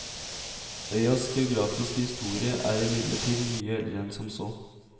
Øyas geografiske historie er imidlertid mye eldre enn som så.